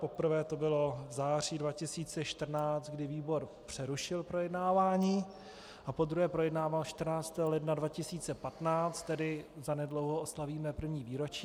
Poprvé to bylo v září 2014, kdy výbor přerušil projednávání, a podruhé projednával 14. ledna 2015, tedy zanedlouho oslavíme první výročí.